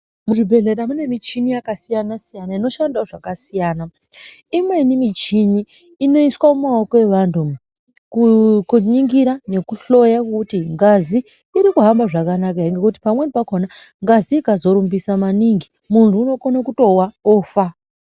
Muzvibhedhlera mune michini yakasiyana inoshandawo zvakasiyana imweni michini inoiswa mumaoko evanthu umwu kuningira nekuhloya kuti ngazi irikuhamba zvakanaka ere ngekuti pamweni pakhona ngazi ikazorumbisa maningi munthu unokona kutowa ofa.